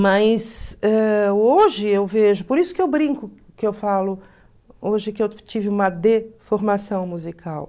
Mas eh hoje eu vejo, por isso que eu brinco, que eu falo, hoje que eu tive uma deformação musical.